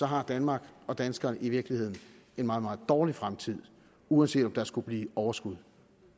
har danmark og danskerne i virkeligheden en meget meget dårlig fremtid uanset om der skulle blive overskud